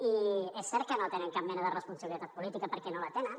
i és cert que no tenen cap mena de responsabilitat política perquè no la tenen